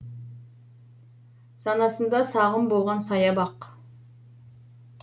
санасында сағым болған сая бақ